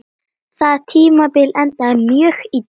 Það tímabil endaði mjög illa.